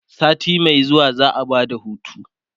sati Mai zuwa za'a Bada hutu